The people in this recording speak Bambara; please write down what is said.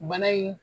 Bana in